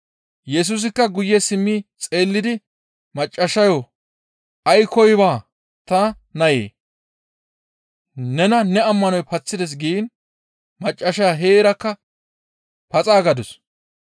Yesusikka guye simmi xeellidi maccassayo, «Aykkoy baa, ta nayee! Nena ne ammanoy paththides» giin maccassaya heerakka paxaa gadus.